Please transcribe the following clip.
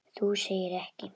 Þú segir ekki.